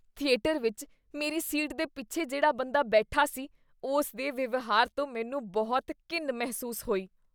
Theatre ਵਿੱਚ ਮੇਰੀ seat ਦੇ ਪਿੱਛੇ ਜਿਹੜਾ ਬੰਦਾ ਬੈਠਾ ਸੀ ਉਸ ਦੇ ਵਿਵਹਾਰ ਤੋਂ ਮੈਨੂੰ ਬਹੁਤ ਘਿਣ ਮਹਿਸੂਸ ਹੋਈ ।